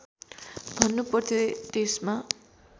भन्नु पर्थ्यो त्यसमा